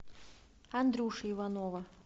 андрюши иванова